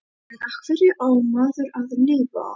En á hverju á maður að lifa?